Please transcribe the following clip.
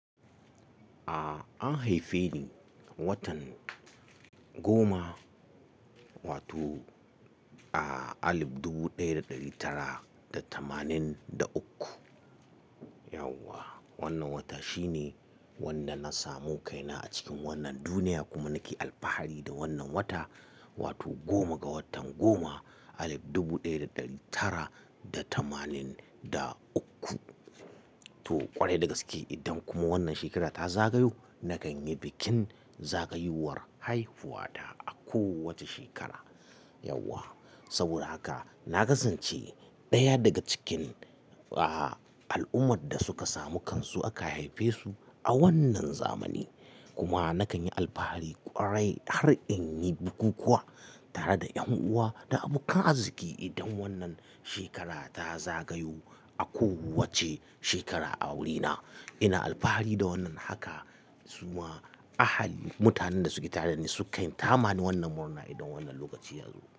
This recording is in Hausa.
A an haife ni watan goma wato a alif dubu ɗaya da ɗari tara da tamanin da uku. Yauwa wannan wata shine wanda na samu kaina a cikin wannan duniya kuma nake alfahari da wannan wata wato goma ga watan goma alif dubu ɗaya da ɗari tara da tamanin da uku. To kwarai da gaske idan kuma wannan shekara ta zagayo, na kan yi bikin zagayowar haifuwa ta a kowace shekara. Yauwa saboda haka na kasance ɗaya daga cikin a al'ummar da suka samu kansu aka haife su a wannan zamani. Kuma na kan yi alfahari kwarai har in yi buku kuwa tare da ƴan uwa da abokan arziki idan wannan shekara ta zagayo a kowace shekara a awuri na. Ina alfahari da wannan haka zuwa ahali mutanen da suke tare da ni suka ta ma wannan murna idan wannan lokaci ya zo.